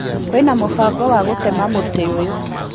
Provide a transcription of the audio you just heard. Kwĩna mũbango wa gũtema mũtĩ ũyũ